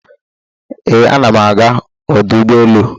Ee, ana m aga ọdụ ụgbọ elu.